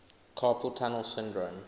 carpal tunnel syndrome